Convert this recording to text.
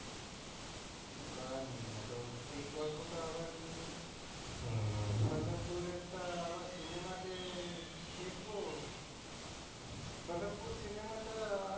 কিছু করার নয় এত এই গল্পটা আবার বল্লভপুরের টা আবার cinema তে দেখব বল্লভপুর cinema টা,